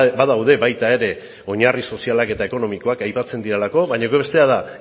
badaude baita ere oinarri sozialak eta ekonomikoak aipatzen direlako baina bestea da